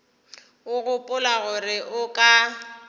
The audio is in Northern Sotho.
o gopola gore o ka